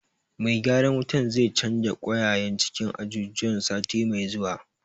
Mai gyaran wutar zai canja ƙwaiƙwayen cikin ajujuwan sati mai zuwa.